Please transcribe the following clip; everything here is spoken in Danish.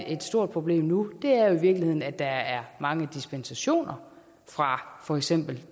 et stort problem nu er i virkeligheden at der er mange dispensationer fra for eksempel